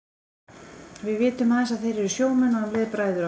Við vitum aðeins að þeir eru sjómenn og um leið bræður okkar.